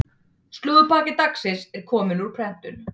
Slúðurpakki dagsins er kominn úr prentun.